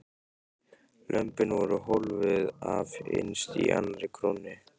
Lömbin voru hólfuð af innst í annarri krónni.